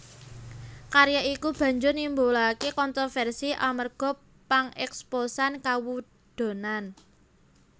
Karya iki banjur nimbulaké kontrovèrsi amarga pangèksposan kawudonan